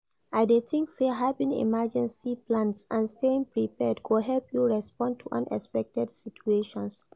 I dey think say having emergency plans and staying prepared go help you respond to unexpected situations.